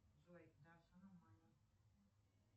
джой да все нормально